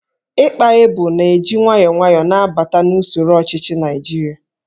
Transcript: Íkpá Ébò na-eji nwayọọ nwayọọ na-abata n'usoro ọchịchị Naijiria